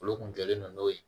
Olu kun jɔlen don n'o ye